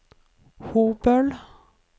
Hobøl